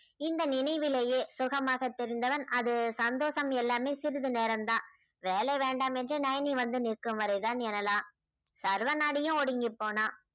இந்த நினைவிலேயே சுகமாக தெரிந்தவன் அது சந்தோஷம் எல்லாமே சிறிது நேரம் தான் வேலை வேண்டாம் என்று நைனி வந்து நிற்கும் வரை தான் எனலாம் சர்வநாடியும் ஒடுங்கிப் போனான்